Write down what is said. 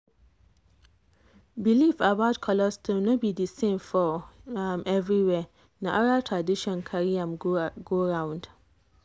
belief about colostrum no be the same for um everywhere. na oral tradition carry am go round.